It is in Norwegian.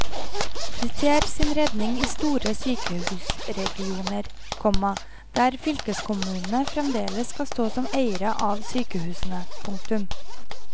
De ser sin redning i store sykehusregioner, komma der fylkeskommunene fremdeles skal stå som eiere av sykehusene. punktum